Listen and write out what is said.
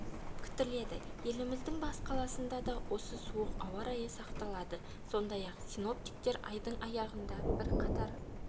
күтіледі еліміздің бас қаласында да осы суық ауа райы сақталады сондай-ақ синоптиктер айдың аяғында бірқатар